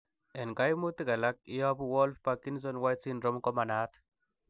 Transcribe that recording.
En koimutik alak, ileyobu Wolff Parkinson White syndrome komanaat.